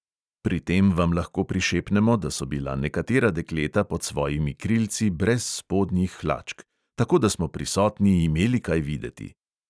Pri tem vam lahko prišepnemo, da so bila nekatera dekleta pod svojimi krilci brez spodnjih hlačk, tako da smo prisotni imeli kaj videti.